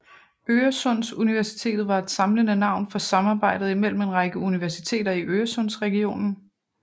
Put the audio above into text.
Øresundsuniversitetet var et samlende navn for samarbejdet imellem en række universiteter i Øresundsregionen